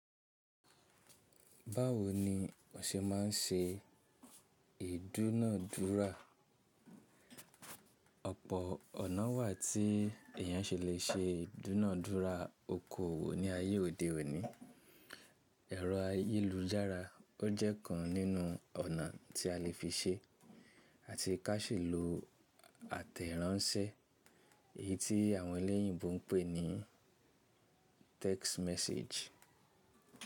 Báwo ni o ṣe ma ń ṣe ìdúnàádúrà? Ọ̀pọ̀ ọ̀nà wà tí èèyàn ṣe lè ṣe ìdúnàádúrà okoòwò ní ayé òde òní. Ẹ̀rọ ayélujára ó jẹ́ ọ̀kan nínú ọ̀nà tí a lè fi ṣe, àti kí a sì lo àtẹ̀ránsẹ́ èyí tí àwọn eléyìnbó ń pè ní text message.